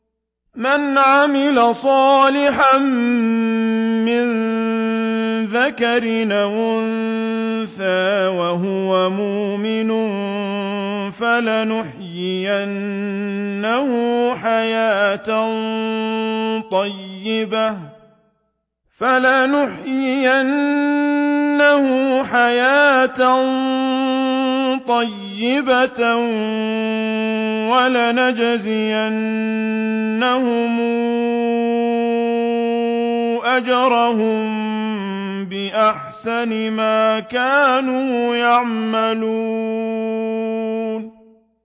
مَنْ عَمِلَ صَالِحًا مِّن ذَكَرٍ أَوْ أُنثَىٰ وَهُوَ مُؤْمِنٌ فَلَنُحْيِيَنَّهُ حَيَاةً طَيِّبَةً ۖ وَلَنَجْزِيَنَّهُمْ أَجْرَهُم بِأَحْسَنِ مَا كَانُوا يَعْمَلُونَ